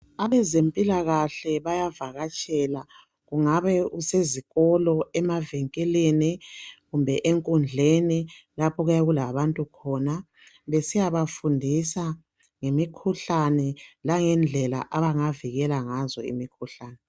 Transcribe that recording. Abezempilakhle bayavakatshela kungabe kusezikolo, emavinkilini kumbe enkundleni lapho okuyabe kulabantu khona besiyabafundisa ngemikhuhlane langendlela abangavikela ngazo imikhuhlane